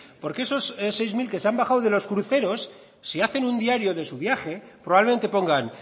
porque esos seis mil que se han bajado de los cruceros si hacen un diario de su viaje probablemente pongan